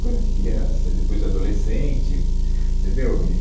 coisa de criança, e depois de adolescente, entendeu? E